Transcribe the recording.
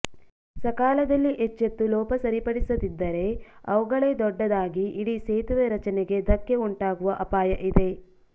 ಸಕಾಲದಲ್ಲಿ ಎಚ್ಚೆತ್ತು ಲೋಪ ಸರಿಪಡಿಸದಿದ್ದರೆ ಅವುಗಳೇ ದೊಡ್ಡದಾಗಿ ಇಡೀ ಸೇತುವೆ ರಚನೆಗೇ ಧಕ್ಕೆ ಉಂಟಾಗುವ ಅಪಾಯ ಇದೆ